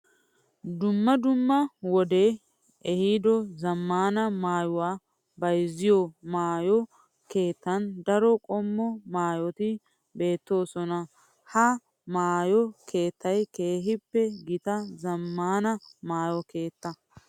Dumma dumma wode ehiido zamaana maayuwa bayzziyo maayo keettan daro qommo maayotti beetosonna Ha maayo keettay keehippe gita zamaana maayo keetta.